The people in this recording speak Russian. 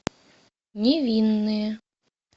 невинные